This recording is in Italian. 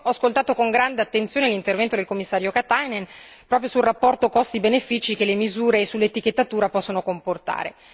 Io ho ascoltato con grande attenzione l'intervento del Commissario Katainen proprio sul rapporto costi benefici che le misure sull'etichettatura possono comportare.